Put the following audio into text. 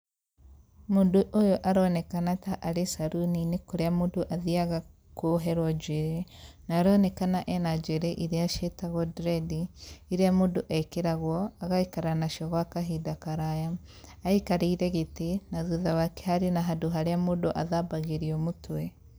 Mũndũ ũyũ aronekana ta arĩ saruni-inĩ kũrĩa mũndũ athiaga kuoherwo njuĩrĩ, na aronekana ena njuĩrĩ iria ciĩtagwo dredi, iria mũndũ ekĩragwo, agaikara nacio gwa kahinda karaya. Aikarĩĩre gĩtĩ na thutha wake harĩ na handũ haria mũndũ athambagĩrio mũtwe.